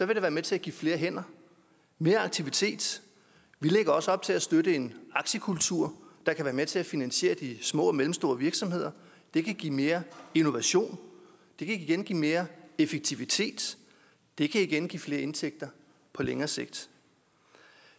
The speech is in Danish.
det være med til at give flere hænder mere aktivitet vi lægger også op til at støtte en aktiekultur der kan være med til at finansiere de små og mellemstore virksomheder det kan give mere innovation det kan igen give mere effektivitet det kan igen give flere indtægter på længere sigt